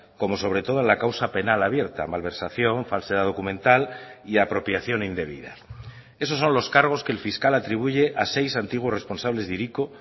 como sobre todo en la causa penal abierta malversación falsedad documental y apropiación indebida esos son los cargos que el fiscal atribuye a seis antiguos responsables de hiriko